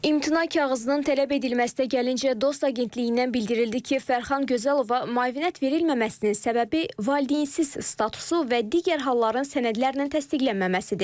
İmtina kağızının tələb edilməsinə gəlinincə, DOST Agentliyindən bildirildi ki, Fərxan Gözəlova müavinət verilməməsinin səbəbi valideynsız statusu və digər halların sənədlərlə təsdiqlənməməsidir.